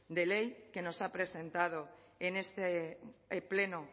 de ley que nos ha presentado en este pleno